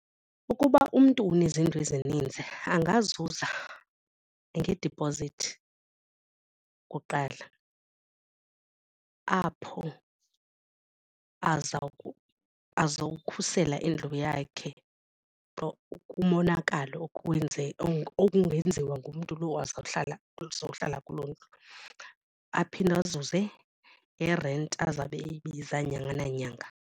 Ukuba umntu unezindlu ezininzi angazuza ngedipozithi kuqala apho azawukhusela indlu yakhe kumonakalo okungenziwa ngumntu lo ozawuhlala uzohlala kuloo ndlu. Aphinde azuze ngerenti azabe eyibiza nyanga nanyanga.